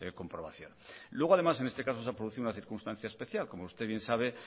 comprobación luego además en este caso se ha producido una circunstancia especial como usted bien sabe